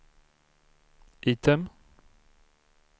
item